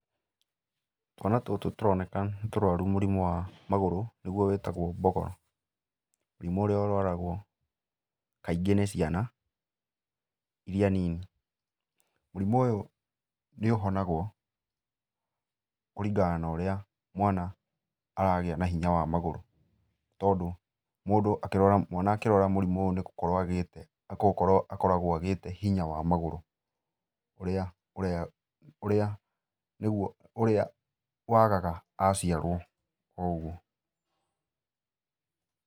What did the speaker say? Twana tũtũ tũroneka nĩtũrwaru mũrimũ wa magũrũ, nĩguo wĩtagũo mbogoro. Mũrimũ ũrĩa ũrwaragwo kaingĩ nĩ ciana, iria nini. Mũrimũ ũyũ nĩũhonagwo kũringana na ũrĩa mwana aragĩa na hinya wa magũrũ. Tondũ mũndũ akĩrwara, mwana akĩrwara mũrimũ ũyũ nĩgũkorwo agĩte, nĩgũkorwo akoragwo agĩte hinya wa magũrũ ũrĩa, ũrĩa nĩguo ũrĩa wagaga aciarwo oũguo.